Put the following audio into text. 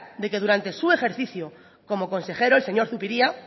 que durante su ejercicio como consejero el señor zupiria